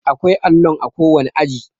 akwai allon a kowane aji